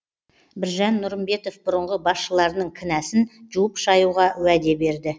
біржан нұрымбетов бұрынғы басшыларының кінәсін жуып шаюға уәде берді